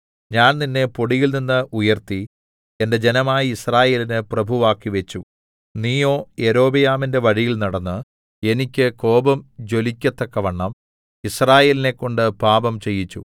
ഞാൻ നിന്നെ പൊടിയിൽനിന്ന് ഉയർത്തി എന്റെ ജനമായ യിസ്രായേലിന് പ്രഭുവാക്കിവെച്ചു നീയോ യൊരോബെയാമിന്റെ വഴിയിൽ നടന്ന് എനിക്ക് കോപം ജ്വലിക്കത്തക്കവണ്ണം യിസ്രായേലിനെക്കൊണ്ട് പാപം ചെയ്യിച്ചു